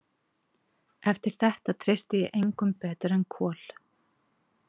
Eftir þetta treysti ég engum betur en Kol.